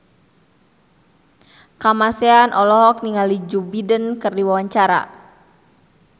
Kamasean olohok ningali Joe Biden keur diwawancara